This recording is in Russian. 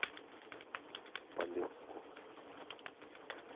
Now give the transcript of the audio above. полесску